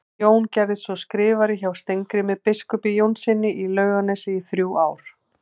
Jón gerðist svo skrifari hjá Steingrími biskupi Jónssyni í Laugarnesi í þrjú ár.